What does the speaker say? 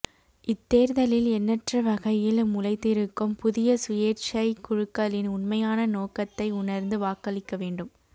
இத்தேர்தலில் எண்ணற்றவகையில் முளைத்திருக்கும் புதிய சுயேற்சைக் குழுக்களின் உண்மையான நோக்கத்தை உணர்ந்து வாக்களிக்கவேண்டும்